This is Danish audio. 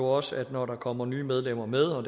også at når der kommer nye medlemmer med og